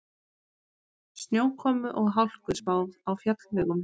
Snjókomu og hálku spáð á fjallvegum